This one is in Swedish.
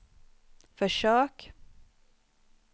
försök